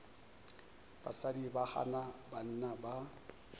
basadi ba gana banna ba